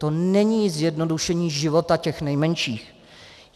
To není zjednodušení života těch nejmenších.